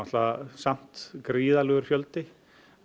samt gríðarlegur fjöldi